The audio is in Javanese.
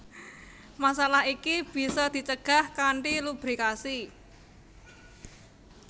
Masalah iki bisa dicegah kanthi lubrikasi